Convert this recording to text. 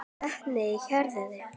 Vitni í héraði.